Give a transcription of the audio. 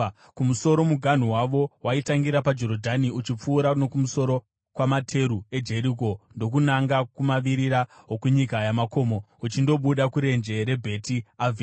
Kumusoro muganhu wavo waitangira paJorodhani, uchipfuura nokumusoro kwamateru eJeriko ndokunanga kumavirira okunyika yamakomo, uchindobuda kurenje reBheti Avheni.